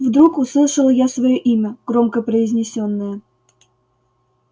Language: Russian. вдруг услышал я своё имя громко произнесённое